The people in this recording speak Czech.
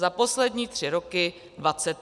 Za poslední tři roky 23 projektů.